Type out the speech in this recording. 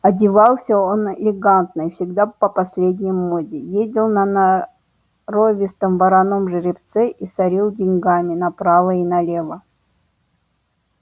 одевался он элегантно и всегда по последней моде ездил на норовистом вороном жеребце и сорил деньгами направо и налево